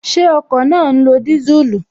Ṣé ọkọ̀ náà ń lo disuulu?